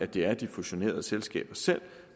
det er de fusionerede selskaber selv